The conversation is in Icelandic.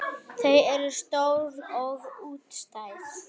Þau eru stór og útstæð.